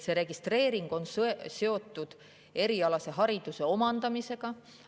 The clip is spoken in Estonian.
Registreering on seotud erialase hariduse omandamisega.